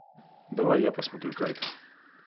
давай я посмотрю кайт